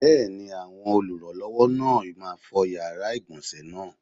Bẹ́ẹ̀ni, àwọn olùrànlọ́wọ́ náà máa fọ yàrá ìgbọ̀nsé náà.